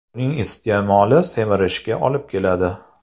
Uning iste’moli semirishga olib keladi.